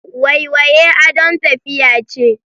Waiwaye adon tafiya ce.